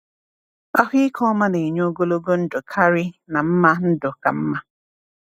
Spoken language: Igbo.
Ahụike ọma na-enye ogologo ndụ karị na mma ndụ ka mma.